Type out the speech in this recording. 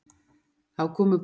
Þá komu borgarísjakarnir.